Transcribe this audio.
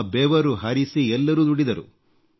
ತಮ್ಮ ಬೆವರು ಹರಿಸಿ ಎಲ್ಲರೂ ದುಡಿದರು